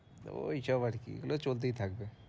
ঐসব আর কি, ওগুলো চলতেই থাকবে।